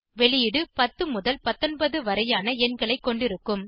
வெளியீடு 10 முதல் 19 வரையிலான எண்களை கொண்டிருக்கும்